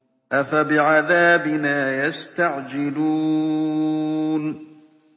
أَفَبِعَذَابِنَا يَسْتَعْجِلُونَ